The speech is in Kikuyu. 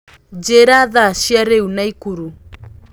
njĩĩra thaa cĩa riu naikuru